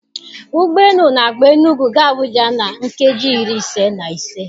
Ụgbọ elu n'agba Enugu ga Abuja na nkeji iri ise na ise.